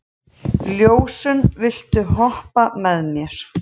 Ljósunn, viltu hoppa með mér?